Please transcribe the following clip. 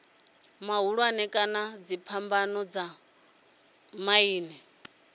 mahulwane kana dziphambano dza miḓini